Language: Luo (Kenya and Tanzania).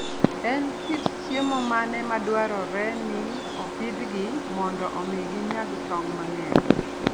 En kit chiemo mane madwarore ni opidhgi mondo omi ginyag tong' mang'eny?